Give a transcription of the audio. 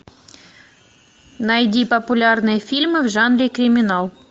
найди популярные фильмы в жанре криминал